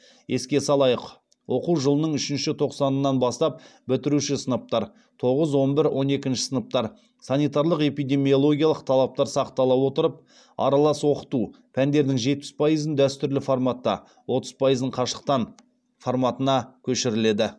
еске салайық оқу жылының үшінші тоқсанынан бастап бітіруші сыныптар санитарлық эпидемиологиялық талаптар сақтала отырып аралас оқыту форматына көшіріледі